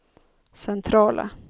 centrala